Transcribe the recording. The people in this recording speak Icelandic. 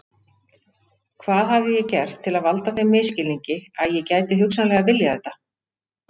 Hvað hafði ég gert til að valda þeim misskilningi að ég gæti hugsanlega viljað þetta?